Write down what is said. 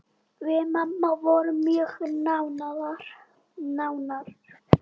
Við mamma vorum mjög nánar.